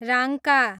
Rangka